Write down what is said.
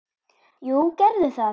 Jú, gerðu það